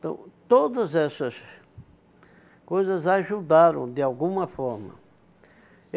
Então, todas essas coisas ajudaram, de alguma forma.